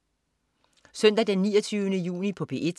Søndag den 29. juni - P1: